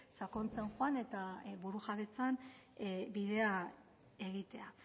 sakontzen joan eta burujabetzan bidea egitea